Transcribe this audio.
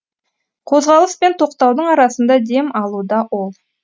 қозғалыс пен тоқтаудың арасында дем алуда ол